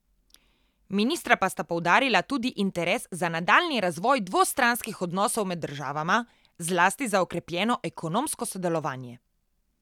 Ministra pa sta poudarila tudi interes za nadaljnji razvoj dvostranskih odnosov med državama, zlasti za okrepljeno ekonomsko sodelovanje.